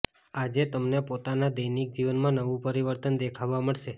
આજે તમને પોતાના દૈનિક જીવન માં નવું પરિવર્તન દેખવા મળશે